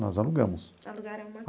Nós alugamos. Alugaram uma